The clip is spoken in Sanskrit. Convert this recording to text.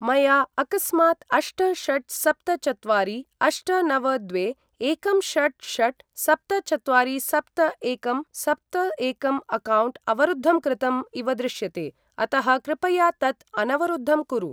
मया अकस्मात् अष्ट षट् सप्त चत्वारि अष्ट नव द्वे एकं षट् षट् सप्त चत्वारि सप्त एकं सप्त एकं अक्कौण्ट् अवरुद्धं कृतम् इव दृश्यते अतः कृपया तत् अनवरुद्धं कुरु।